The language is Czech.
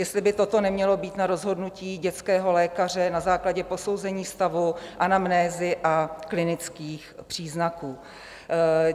Jestli by toto nemělo být na rozhodnutí dětského lékaře na základě posouzení stavu, anamnézy a klinických příznaků.